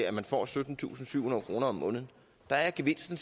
at man får syttentusinde og syvhundrede kroner om måneden der er gevinsten